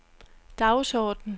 dagsorden